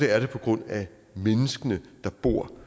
er det på grund af menneskene der bor